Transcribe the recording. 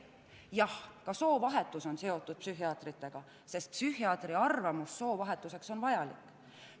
Jah, ka soovahetus on seotud psühhiaatritega, sest psühhiaatri arvamus on soovahetuseks vajalik.